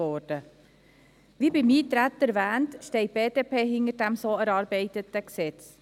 Wie beim Eintreten erwähnt, steht die BDP hinter dem so erarbeiteten Gesetz.